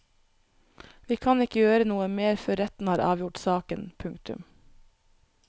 Vi kan ikke gjøre noe mer før retten har avgjort saken. punktum